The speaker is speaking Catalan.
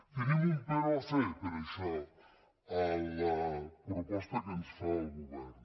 tenim un però a fer per això a la proposta que ens fa el govern